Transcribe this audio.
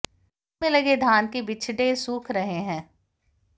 खेत में लगे धान के बिचडे सूख रहे हैं